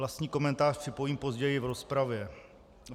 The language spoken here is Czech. Vlastní komentář připojím později v rozpravě.